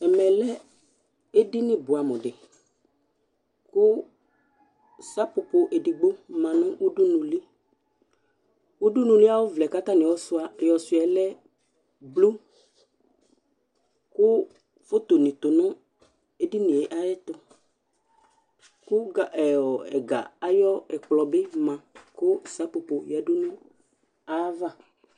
Ɛmɛ lɛ edini bʋɛamʋ dɩ kʋ sapopo edigbbo ma nʋ udunuli Udunuli ayʋ ɔvlɛ yɛ kʋ atanɩ ayɔsʋɩa yɛ lɛ blu kʋ fotonɩ tʋ nʋ eedini yɛ ayɛtʋ kʋ ga ɛ ɔ ɛga ayʋ ɛkplɔ bɩ ma kʋ sapopo yǝdu nʋ ayava